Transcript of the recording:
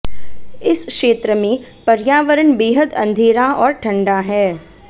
इस क्षेत्र में पर्यावरण बेहद अंधेरा और ठंडा है